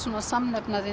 samnefnarinn